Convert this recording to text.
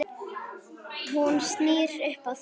Hún snýr upp á sig.